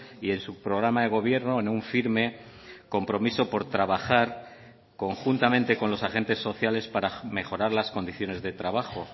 y en su programa de gobierno en un firme compromiso por trabajar conjuntamente con los agentes sociales para mejorar las condiciones de trabajo